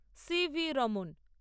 C V Raman